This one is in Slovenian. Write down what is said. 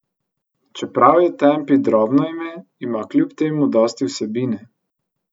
Čeprav je Tempi drobno ime, ima kljub temu dosti vsebine.